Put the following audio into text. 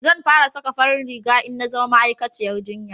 zan fara saka farin riga in na zama ma'aikaciyar jinya